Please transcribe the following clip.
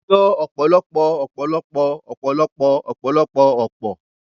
Wọ́n yọ ọ̀pọ̀lọpọ̀ ọ̀pọ̀lọpọ̀ ọ̀pọ̀lọpọ̀ ọ̀pọ̀lọpọ̀ ọ̀pọ̀